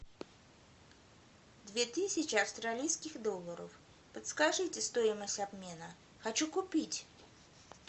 две тысячи австралийских долларов подскажите стоимость обмена хочу купить